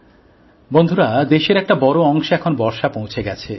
বন্ধুরা দেশের একটা বড় অংশে এখন বর্ষা পৌঁছে গেছে